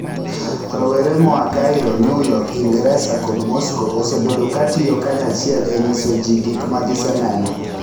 Rowere moa Cairo, New York, Ingresa, kod Moscow, osebedo katiyo kanyachiel e nyiso ji gik ma giseneno.